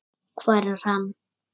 Hvar er hann?